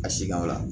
A si gawo